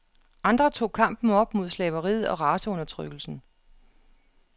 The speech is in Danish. Andre tog kampen op mod slaveriet og raceundertrykkelsen.